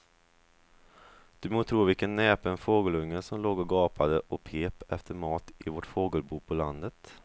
Du må tro vilken näpen fågelunge som låg och gapade och pep efter mat i vårt fågelbo på landet.